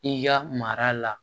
I ka mara la